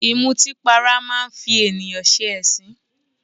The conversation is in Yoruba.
Ìmutípara máa ń fi ènìyàn ṣe ẹ̀sín